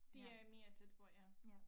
Det er mere tæt på ja